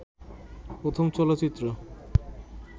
প্রথম চলচ্চিত্র